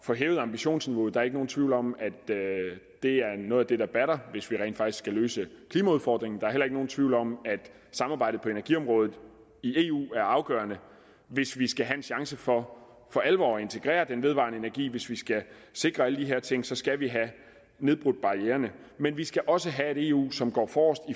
få hævet ambitionsniveauet der er ikke nogen tvivl om at det er noget af det der batter hvis vi rent faktisk skal løse klimaudfordringen der er heller ikke nogen tvivl om at samarbejdet på energiområdet i eu er afgørende hvis vi skal have en chance for for alvor at integrere den vedvarende energi hvis vi skal sikre alle de her ting skal vi have nedbrudt barriererne men vi skal også have et eu som går forrest